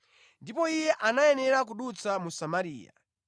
Ndipo Iye anayenera kudutsa mu Samariya.